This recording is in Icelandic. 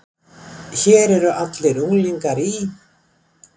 Hér eru allir unglingar í